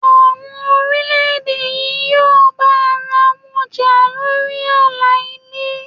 Àwọn orílẹ̀ èdè yí yóò bá ara wọn jà lórí àlà ilé.